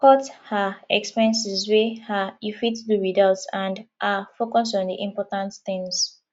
cut um expenses wey um you fit do without and um focus on di important things